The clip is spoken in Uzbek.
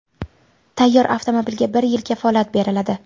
Tayyor avtomobilga bir yil kafolat beriladi.